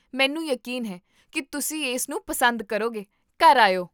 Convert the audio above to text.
ਮੈਨੂੰ ਯਕੀਨ ਹੈ ਕੀ ਤੁਸੀਂ ਇਸਨੂੰ ਪਸੰਦ ਕਰੋਗੇ, ਘਰ ਆਇਓ!